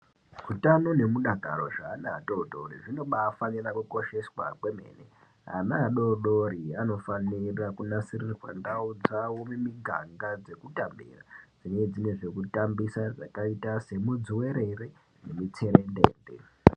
Utano nemudakaro zveana atori tori zvinobafanira kukosheswa kwemene. Ana adodori anofanira kunasirirwa ndau dzawo mimiganga dzekutambira dzine dzine zvekutambisa zvakaita semudzuwerere nemitserendende.